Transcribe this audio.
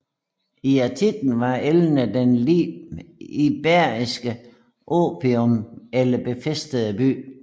I antikken var Elne en iberisk oppidum eller befæstet by